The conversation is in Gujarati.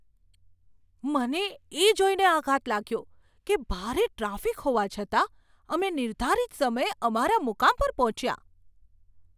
મને એ જોઈને આઘાત લાગ્યો કે ભારે ટ્રાફિક હોવા છતાં અમે નિર્ધારિત સમયે અમારા મુકામ પર પહોંચ્યા!